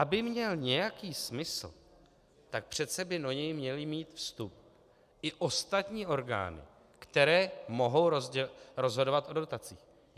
Aby měl nějaký smysl, tak přece by do něj měly mít vstup i ostatní orgány, které mohou rozhodovat o dotacích.